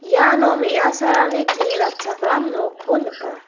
iano me·asarangni kni ratchakram nokko nika.